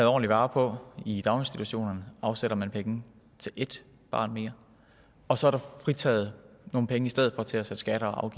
ordentligt vare på i daginstitutionerne afsætter man penge til ét barn mere og så er der fritaget nogle penge i stedet for til at sætte skatter og